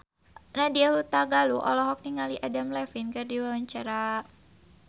Nadya Hutagalung olohok ningali Adam Levine keur diwawancara